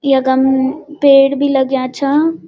यकम पेड़ बि लग्यां छा।